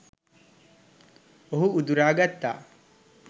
ඔහු උදුරා ගත්තා.